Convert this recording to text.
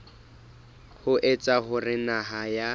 ho etsa hore naha ya